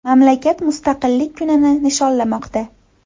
Mamlakat Mustaqillik kunini nishonlamoqda.